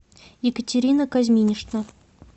екатерина кузьминична